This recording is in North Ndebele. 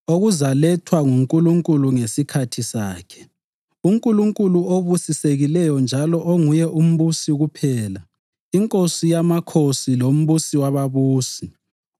okuzalethwa nguNkulunkulu ngesikhathi sakhe, uNkulunkulu obusisekileyo njalo onguye uMbusi kuphela, iNkosi yamakhosi loMbusi wababusi,